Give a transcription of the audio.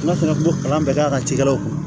N'a sera ko kalan bɛ k'a ka cikɛlaw ma